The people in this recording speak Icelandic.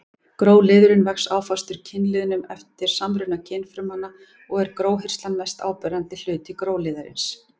Gróliðurinn vex áfastur kynliðnum eftir samruna kynfrumanna og er gróhirslan mest áberandi hluti gróliðarins.